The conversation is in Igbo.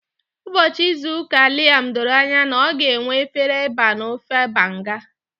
Ụbọchị izu ụka Liam doro anya na ọ ga-enwe efere eba na ofe Banga.